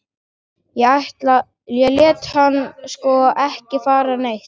Ég læt hann sko ekki fara neitt.